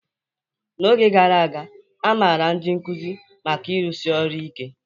N'oge gara aga, a maara ndị nkuzi maka ịrụsi ọrụ ike.